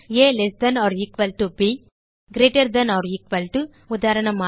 altb greater than or equal to உதாரணமாக